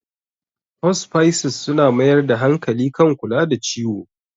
Hospices suna mayar da hankali kan kula da ciwo.